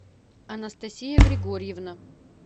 анастасия григорьевна